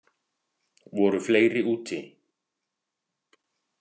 Voru fleiri úti?